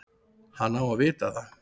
Hann á að vita það.